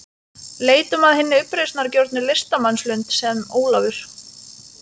Leitum að hinni uppreisnargjörnu listamannslund, sem Ólafur